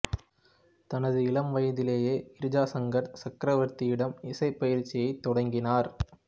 தனது இளம் வயதிலேயே கிர்ஜா சங்கர் சக்ரவர்த்தியிடம் இசை பயிற்சியைத் தொடங்கினார்